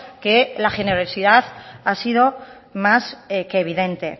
que la generosidad ha sido más que evidente